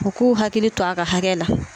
U k'u hakili to a ka hakɛ la.